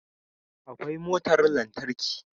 Akwai motar lantarki